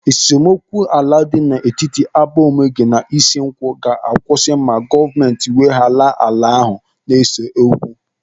Esemokwu ala dị n'etiti Abaomege na Ishinkwọ ga-akwụsị ma gọọmenti weghara ala ahụ na-ese okwu.